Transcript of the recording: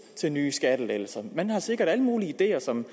til nye skattelettelser man har sikkert alle mulige ideer som